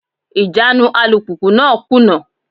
Ìjánu alùpùpù náà kùnà.